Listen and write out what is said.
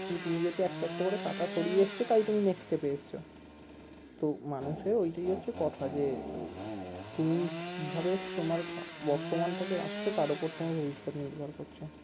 কিন্তু তুমি যেহুতু একটা একটা করে কাটা সরিয়ে এসছো তাই তুমি next step এ এসেছো তো মানুষের ওইটাই হচ্ছে কথা যে উহ তুমি কিভাবে তোমার বর্তমানটাকে তার ওপর তোমার ভবিষ্যৎ নির্ভর করছে